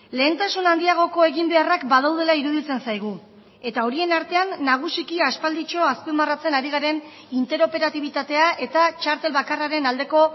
lehentasun handiagoko egin beharrak badaudela iruditzen zaigu eta horien artean nagusiki aspalditxo azpimarratzen ari garen interoperatibitatea eta txartel bakarraren aldeko